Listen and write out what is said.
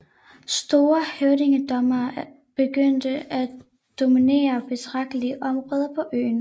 Store høvdingedømmer begyndte at dominere betragtelige områder på øen